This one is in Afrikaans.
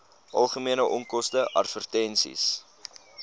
algemene onkoste advertensies